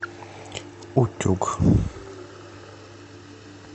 утюг